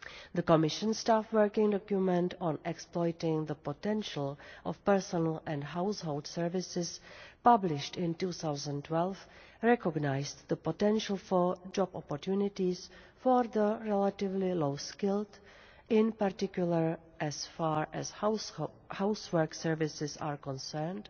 The Commission staff working document on Exploiting the potential of personal and household services', published in 2012, recognised the potential for job opportunities for the relatively low skilled, in particular as far as housework services are concerned,